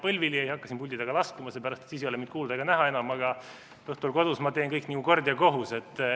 Ma põlvili ei hakka siin puldi taga laskuma, seepärast et siis ei ole mind enam kuulda ega näha, aga õhtul kodus ma teen kõik nagu kord ja kohus.